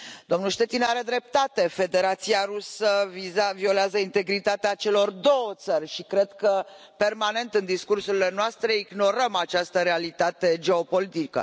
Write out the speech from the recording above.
Domnul Štětina are dreptate, Federația Rusă violează integritatea celor două țări și cred că permanent în discursurile noastre ignorăm această realitate geopolitică.